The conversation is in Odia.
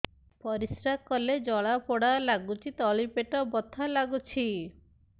ପରିଶ୍ରା କଲେ ଜଳା ପୋଡା ଲାଗୁଚି ତଳି ପେଟ ବଥା ଲାଗୁଛି